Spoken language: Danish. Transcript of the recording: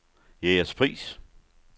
Jægerspris